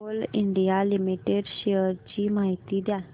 Coal India limited shares ची माहिती द्या